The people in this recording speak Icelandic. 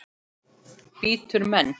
Bítur menn?